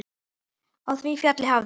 Á því fjalli hafði